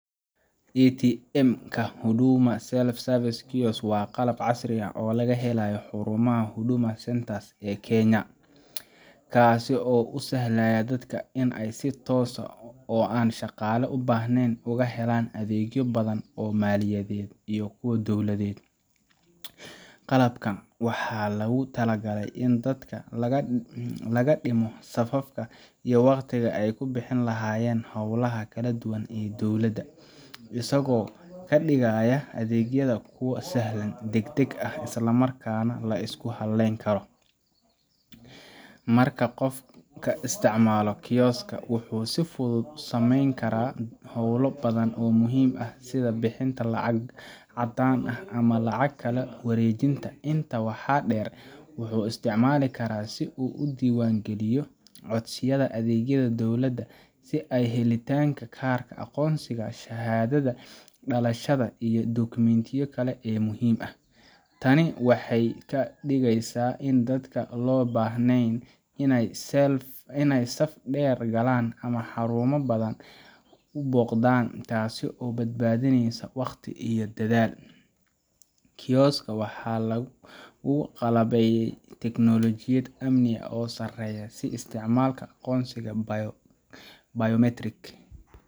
ATM ka Huduma Self-Service Kiosk waa qalab casri ah oo laga helayo xarumaha Huduma Centers ee Kenya, kaas oo u sahlaya dadka inay si toos ah oo aan shaqaale u baahnayn uga helaan adeegyo badan oo maaliyadeed iyo kuwo dowladeed. Qalabkan waxaa loogu talagalay in dadka laga dhimo safafka iyo waqtiga ay ku bixin lahaayeen hawlaha kala duwan ee dowladda, isagoo ka dhigaya adeegyada kuwo sahlan, degdeg ah, isla markaana la isku halleyn karo. Marka qofka isticmaalo kiosk ka, wuxuu si fudud u sameyn karaa howlo badan oo muhiim ah sida bixinta lacag caddaan ah ama lacag kala wareejinta. Intaa waxaa dheer, wuxuu isticmaali karaa si uu u diiwaangeliyo codsiyada adeegyada dowladda, sida helitaanka kaarka aqoonsiga, shahaadada dhalashada, iyo dukumentiyo kale oo muhiim ah. Tani waxay ka dhigaysaa in dadka aan loo baahnayn inay saf dheer galaan ama xarumo badan booqdaan, taas oo badbaadinaysa wakhti iyo dadaal. Kiosk ka waxaa lagu qalabeeyay tiknoolajiyad amni oo sareysa, sida isticmaalka aqoonsiga biometric